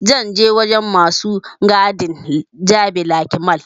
Zan je wurin masu gadin jabi lake mall